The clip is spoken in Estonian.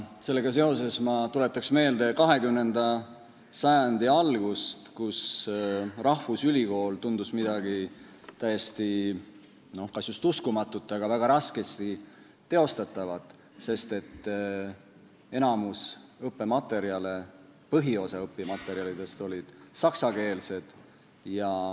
Sellega seoses ma tuletaksin aga meelde 20. sajandi algust, kus rahvusülikool tundus midagi mõeldamatut – kas just uskumatut, kuid siiski väga raskesti teostatavat –, sest enamik õppematerjale, põhiosa õppematerjalidest oli saksakeelne.